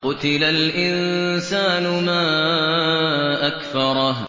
قُتِلَ الْإِنسَانُ مَا أَكْفَرَهُ